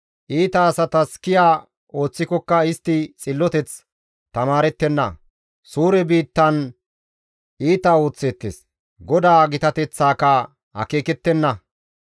Iita asatas kiya ooththikokka, istti xilloteth tamaarettenna. Suure biittan iita ooththeettes; GODAA gitateththaaka akeekettenna.